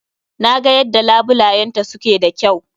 Na ga yadda labulayenta su ke da kyau.